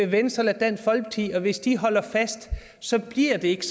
venstre eller dansk folkeparti og hvis de holder fast så bliver det ikke